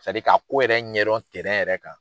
ka ko yɛrɛ ɲɛdɔn yɛrɛ kan.